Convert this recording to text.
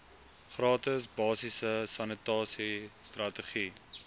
gratis basiese sanitasiestrategie